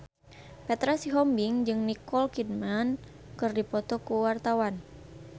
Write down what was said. Petra Sihombing jeung Nicole Kidman keur dipoto ku wartawan